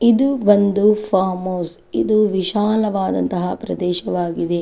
ಇದು ಒಂದು farm house ಇದು ವಿಶಾಲವಾದಂತಹ ಪ್ರದೇಶವಾಗಿದೆ.